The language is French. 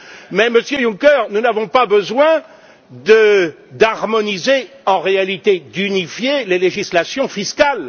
Mais, Monsieur Juncker, nous n'avons pas besoin d'harmoniser en réalité d'unifier les législations fiscales.